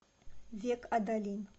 век адалин